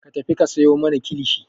Ka tafi ka sayo mana kilishi!